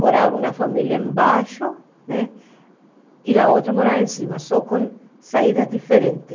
morava uma família embaixo né, e a outra morava em cima, só com saídas diferentes.